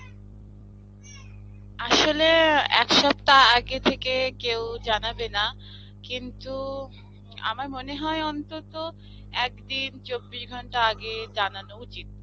আসলে, আ একসপ্তা আগে থেকে কেউ জানাবে না. কিন্তু আমার মনে হয় অন্তত একদিন চব্বিশ ঘন্টা আগে জানানো উচিত.